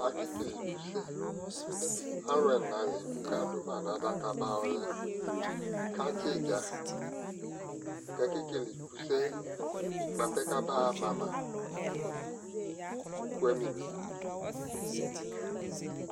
akɛ kɛlɛ ikʋ sɛ, alʋɛ ɛna lɛkʋ kʋ aka duma nʋ adaka ba yɔlɛ kʋ atsi itdza kʋ akɛ kɛlɛ ikʋ sɛ bʋa pɛ kʋabaa ma ma, ʋkʋ amimi